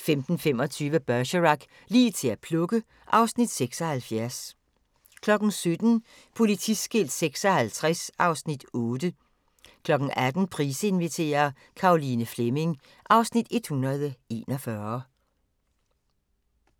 15:25: Bergerac: Lige til at plukke (Afs. 76) 17:00: Politiskilt 56 (Afs. 8) 18:00: Price inviterer - Caroline Fleming (Afs. 141)